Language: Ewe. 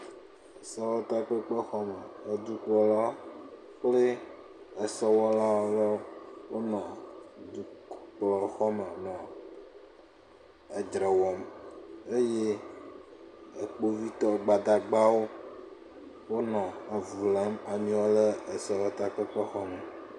Sewɔtakpekpexɔ me, edukplɔla kple esewɔlawo, wonɔ dukɔkplɔla gbɔ nɔ edzre wɔm eye kpovitɔ, gbadagbawo wonɔ avu lém ameawo le sewɔtakpexɔme.